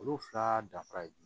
Olu fila dafara ye jumɛn